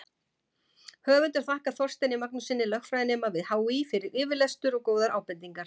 Höfundur þakkar Þorsteini Magnússyni, lögfræðinema við HÍ, fyrir yfirlestur og góðar ábendingar.